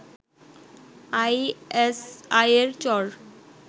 আইএসআইয়ের চর